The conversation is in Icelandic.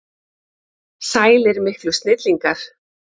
Sælir miklu snillingar!